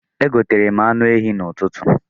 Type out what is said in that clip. Egoterem anụ ehi n'ụtụtụ